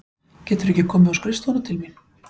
Geturðu ekki komið á skrifstofuna til mín?